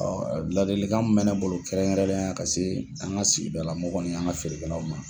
Ladilikan min bɛ ne bolo kɛrɛnkɛrɛnnenya la ka se an ka sigida la mɔgɔ ni an ka feerekɛlaw ma.